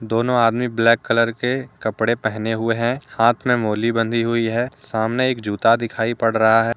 दोनों आदमी black colour के कपड़े पहने हुए हैं हाथ में मौली बंधी हुई है सामने एक जूता दिखाई पड़ रहा है।